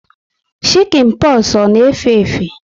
Shikin poxu ọ na efe efe?